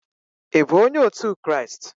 ị bụ onye otu Kraịst?